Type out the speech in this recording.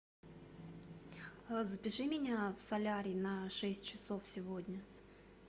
запиши меня в солярий на шесть часов сегодня